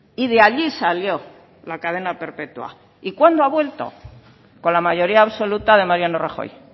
y de allí salió la cadena perpetua y cuándo ha vuelto con la mayoría absoluta de mariano rajoy